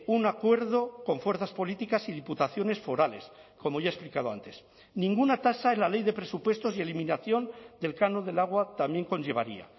un acuerdo con fuerzas políticas y diputaciones forales como ya he explicado antes ninguna tasa en la ley de presupuestos y eliminación del canon del agua también conllevaría